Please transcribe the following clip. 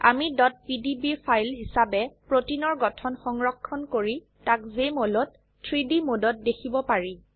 আমি pdb file হিসাবে প্ৰোটিনৰ গঠন সংৰক্ষণ কৰি তাক জেএমঅল ত 3ডি মোডত দেখিব পাৰি